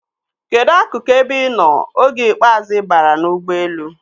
Kedụ akụkụ ebe ị nọ oge ikpeazụ ị baara n'ụgbọelu?